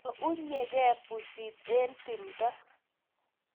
Ko unygei pusit eng tumdo